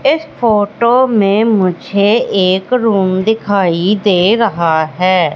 इस फोटो में मुझे एक रूम दिखाई दे रहा है।